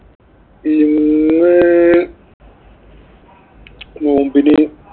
ഇന്ന് നോമ്പിന്